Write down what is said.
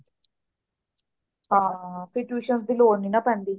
ਹਾਂ ਫੇਰ tuitions ਦੀ ਲੋੜ ਨੀ ਨਾ ਪੈਂਦੀ